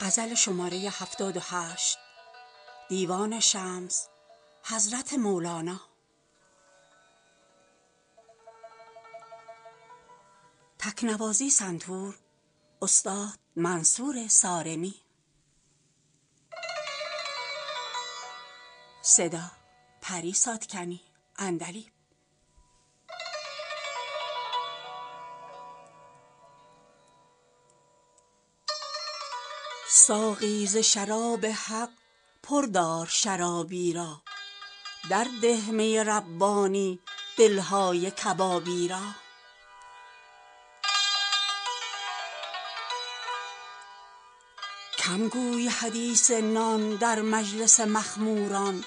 ساقی ز شراب حق پر دار شرابی را درده می ربانی دل های کبابی را کم گوی حدیث نان در مجلس مخموران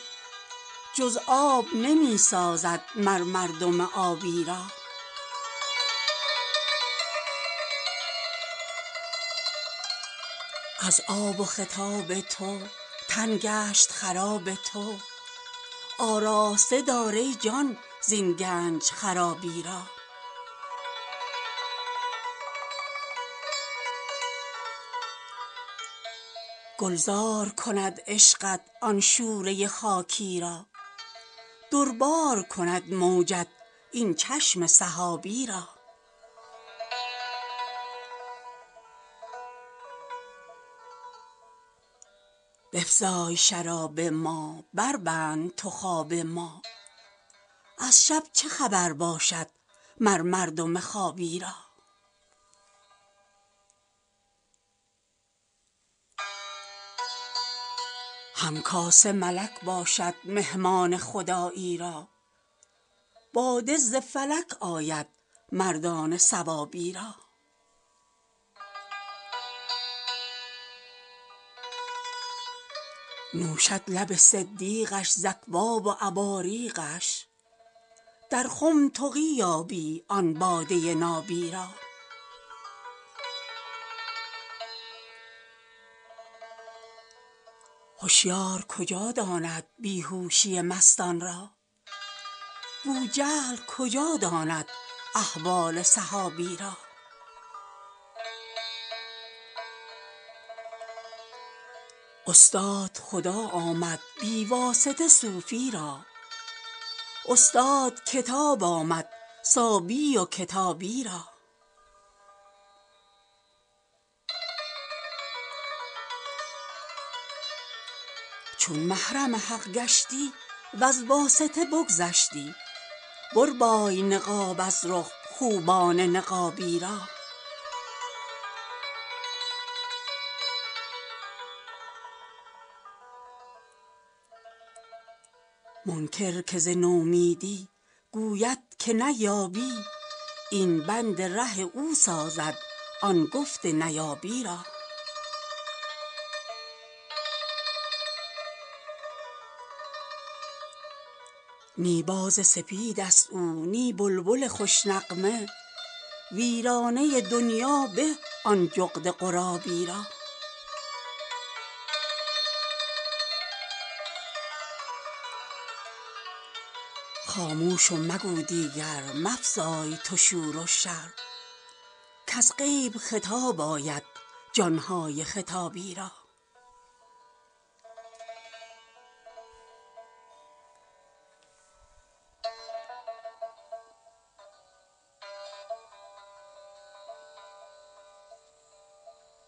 جز آب نمی سازد مر مردم آبی را از آب و خطاب تو تن گشت خراب تو آراسته دار ای جان زین گنج خرابی را گلزار کند عشقت آن شوره خاکی را در بار کند موجت این چشم سحابی را بفزای شراب ما بربند تو خواب ما از شب چه خبر باشد مر مردم خوابی را هم کاسه ملک باشد مهمان خدایی را باده ز فلک آید مردان ثوابی را نوشد لب صدیقش ز اکواب و اباریقش در خم تقی یابی آن باده نابی را هشیار کجا داند بی هوشی مستان را بوجهل کجا داند احوال صحابی را استاد خدا آمد بی واسطه صوفی را استاد کتاب آمد صابی و کتابی را چون محرم حق گشتی وز واسطه بگذشتی بربای نقاب از رخ خوبان نقابی را منکر که ز نومیدی گوید که نیابی این بند ره او سازد آن گفت نیابی را نی باز سپید ست او نی بلبل خوش نغمه ویرانه دنیا به آن جغد غرابی را خاموش و مگو دیگر مفزای تو شور و شر کز غیب خطاب آید جان های خطابی را